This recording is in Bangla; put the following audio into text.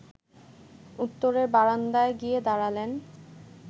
উত্তরের বারান্দায় গিয়ে দাঁড়ালেন